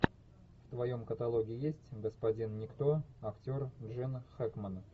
в твоем каталоге есть господин никто актер джин хэкмен